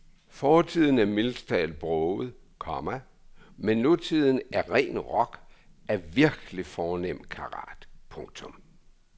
Fortiden er mildest talt broget, komma men nutiden er ren rock af virkelig fornem karat. punktum